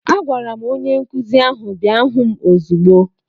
Agwara m onye nkụzi ahụ bịa hụ m ozigbo!